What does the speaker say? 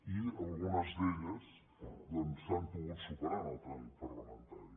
i algunes d’elles doncs s’han pogut superar en el tràmit parlamentari